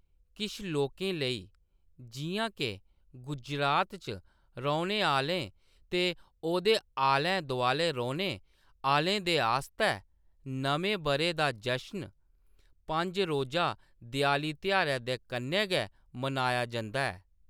किश लोकें लेई, जिʼयां के गुजरात च रौह्‌‌‌ने आह्‌‌‌लें ते ओह्‌‌‌दे आलै-दुआलै रौह्‌‌‌ने आह्‌‌‌लें दे आस्तै नमें बʼरे दा जशन पंज रोज़ा देआली तेहारै दे कन्नै गै मनाया जंदा ऐ।